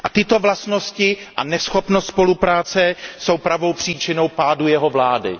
A tyto vlastnosti a neschopnost spolupráce jsou pravou příčinou pádu jeho vlády.